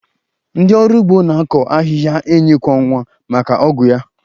Ndị ọrụ ugbo na-akọ ahịhịa enyi kwọ nwa maka ọgwụ ya